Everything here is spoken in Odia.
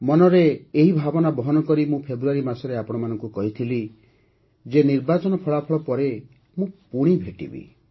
ମନରେ ଏହି ଭାବନା ବହନ କରି ମୁଁ ଫେବୃଆରୀ ମାସରେ ଆପଣମାନଙ୍କୁ କହିଥିଲି ଯେ ନିର୍ବାଚନ ଫଳାଫଳ ପରେ ପୁଣି ଭେଟିବି